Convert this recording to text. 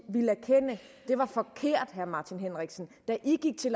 det var forkert herre martin henriksen da i gik til